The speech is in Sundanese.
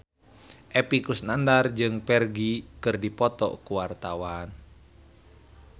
Epy Kusnandar jeung Ferdge keur dipoto ku wartawan